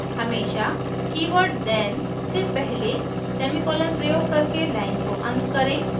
हमेशा keyword then से पहले semicolon प्रयोग करके line को अंत करें